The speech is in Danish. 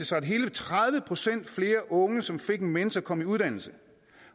sig at hele tredive procent flere af de unge som fik en mentor kom i uddannelse